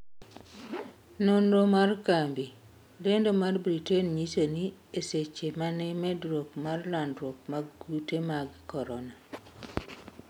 nonro mar kambi lendo mar britain nyiso ni eseche mane medruok mar landruok mag kute mag korona